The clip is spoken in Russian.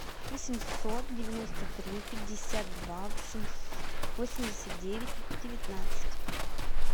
восемьсот девяносто три пятьдесят два восемьдесят девять девятнадцать